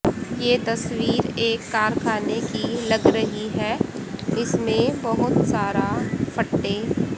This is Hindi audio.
ये तस्वीर एक कारखाने की लग रही है इसमें बहोत सारा फट्टे--